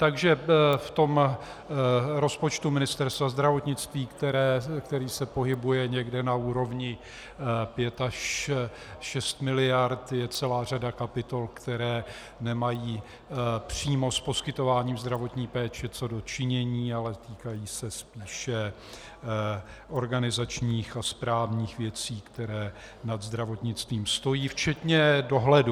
Takže v tom rozpočtu Ministerstva zdravotnictví, který se pohybuje někde na úrovni 5 až 6 miliard, je celá řada kapitol, které nemají přímo s poskytováním zdravotní péče co do činění, ale týkají se spíše organizačních a správních věcí, které nad zdravotnictvím stojí, včetně dohledu.